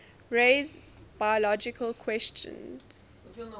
raise biological questions